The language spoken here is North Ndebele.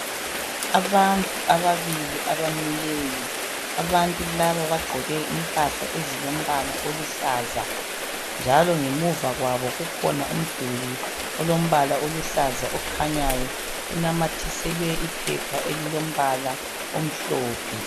Abantu ababili abamileyo. Abantu laba bagqoke impahla ezilombala oluhlaza, njalo ngemuva kwabo kukhona umduli olombala oluhlaza okhanyayo. Kunamathiselwe iphepha elilombala omhlophe.